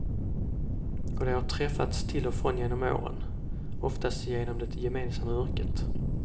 Och de har träffats till och från genom åren, oftast genom det gemensamma yrket.